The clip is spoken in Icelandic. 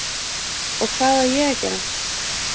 Og hvað á ég að gera?